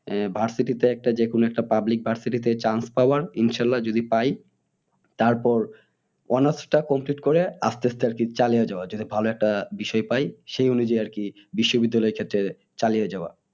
উম versity যে কোনো একটা public versity তে chance পাওয়ার ইনশাআল্লাহ্‌ যদি পাই তারপর honours টা complete করে আস্তে আস্তে আরকি চালিয়ে যাওয়া যদি ভালো একটা বিষয় পাই সেই অনুযায়ী আরকি বিশ্ববিদ্যালয়ে চালিয়ে যাওয়া